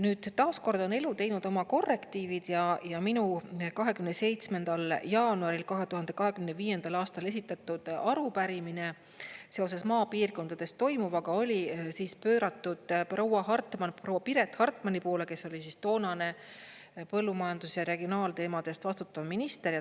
Nüüd, taas kord on elu teinud oma korrektiivid ja minu 27. jaanuaril 2025. aastal esitatud arupärimine seoses maapiirkondades toimuvaga oli suunatud proua Piret Hartmanile, kes oli toonane põllumajanduse ja regionaalteemade eest vastutav minister.